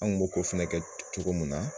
An kun b'o kɛ cogo mun na.